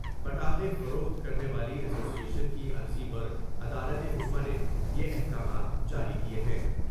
پٹائے فروخت کرنے والی اسوی ایشن کی عرضی پر عدالت عظمی نے یہ حکامات جاری کئے ہیں ۔